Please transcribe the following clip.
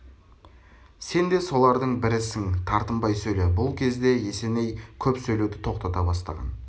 сен де солардың бірісің тартынбай сөйле бұл кезде есеней көп сөйлеуді тоқтата бастаған